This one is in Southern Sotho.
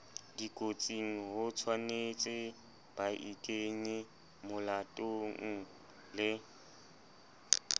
dikotsing hotshwanetse baikenye molatong le